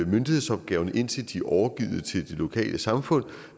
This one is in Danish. myndighedsopgaverne indtil de er overgivet til det lokale samfund